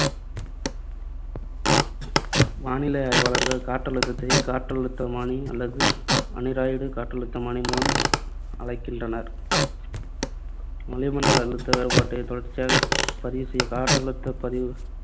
வானிலை ஆய்வாளர்கள் காற்றழுத்தத்தை காற்றழுத்தமானி அல்லது அனிராய்டு காற்றழுத்தமானி மூலம் அளக்கின்றனர். வளிமண்டல அழுத்த வேறுபாட்டை தொடர்ச்சியாகப் பதிவு செய்ய காற்றழுத்தப் பதிவுத்தாள்